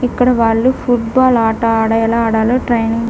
ఇక్కడ వాళ్ళు football ఆట ఆడ-ఎలా ఆడాలో ట్రయినింగ్ --